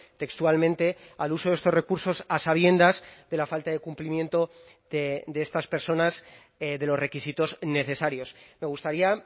textualmente al uso de estos recursos a sabiendas de la falta de cumplimiento de estas personas de los requisitos necesarios me gustaría